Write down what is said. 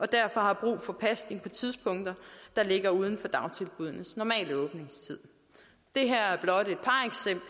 derfor har brug for pasning på tidspunkter der ligger uden for dagtilbuddenes normale åbningstid det